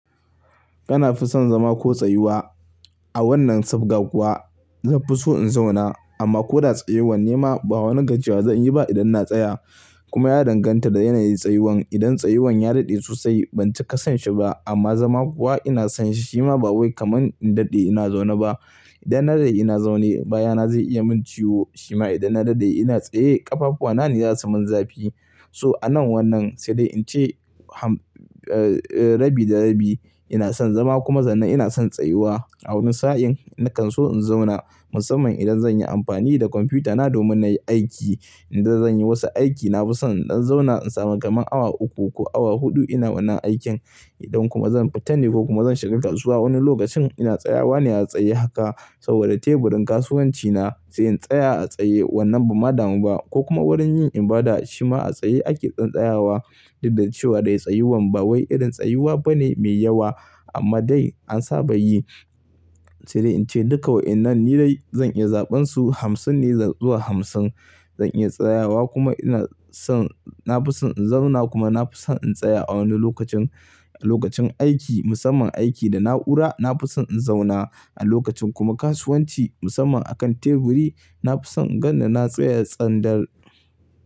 Kana fi son zama ko tsayuwa? A wannan sabga kuwa zan fi so in zauna amma ko da tsayuwan nema ba wani gajiyawa zan yi ba idan na tsaya. Kuma ya danganta da yanayin tsayuwan. Idan tsayuwan ya daɗe sosai ban cika sanshi ba amma zama kuwa ina son shi shima ba wai kamar in daɗe ina zaune ba. Idan na daɗe ina zaune baya na zai iya min ciwo shima idan na daɗe ina tsaye ƙafafuwa na ne za su min zafi. So anan wannan sai dai in ce rabi da rabi. Ina son zama kuma zannan ina son tsayuwa. A wani sa'in nakan so in zauna musamman idan zan yi amfani da kwamfutana domin na yi aiki. Idan zan yi wasu aiki na fi son in dan zauna in samu kamar awa uku ko awa huɗu ina wannan aikin idan kuma zan fita ne ko kuma zan shiga kasuwa wani lokacin ina tsayawa ne a tsaye haka saboda teburin kasuwanci na sai in tsaya a tsaye wannan ban ma damu ba ko kuma wurin yin ibada shima a tsaye ake tsantsayawa duk da cewa dai tsayuwan ba wai irin tsayuwa bane mai yawa amma dai an saba yi. Sai dai in ce duka wa'inan ni dai zan iya zaɓansu hamsin ne zuwa hamsin. Zan iya tsayawa kuma ina son, na fi son in zauna kuma na fi son in tsaya a wani lokacin, a lokacin aiki musamman aiki da na'ura na fi son in zauna. A lokacin kuma kasuwanci musamman a kan teburi na fi son in ganni na tsaya tsandar.